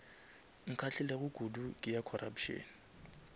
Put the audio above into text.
nkgahlilego kudu ke ya corruption